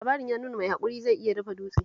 Labarin ya nuna mai haƙuri zai iya dafa dutse